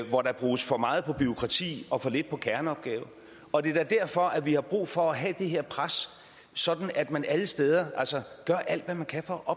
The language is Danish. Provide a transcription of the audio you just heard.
hvor der bruges for meget på bureaukrati og for lidt på kerneopgaver og det er da derfor at vi har brug for at have det her pres sådan at man alle steder gør alt hvad man kan for at